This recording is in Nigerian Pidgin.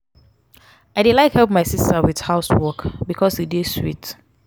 i dey like help my sista with house work bikos e dey sweet.